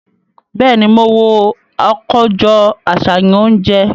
Bẹẹni, mo wo akojọ aṣayan ounjẹ